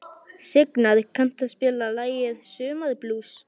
Signar, kanntu að spila lagið „Sumarblús“?